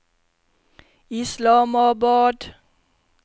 Islamabad